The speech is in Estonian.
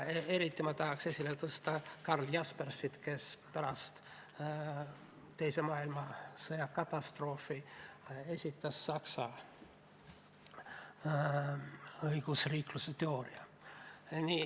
Eriti ma tahaks esile tõsta Karl Jaspersit, kes pärast teise maailmasõja katastroofi esitas Saksa õigusriikluse teooria.